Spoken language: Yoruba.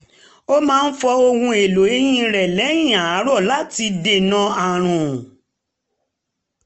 ó máa fọ ohun èlò eyín rẹ̀ lẹ́yìn àárọ̀ láti dènà ààrùn